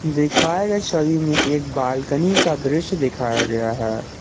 दिखाए गए छवि में एक बालकनी का दृश्य दिखाया गया है।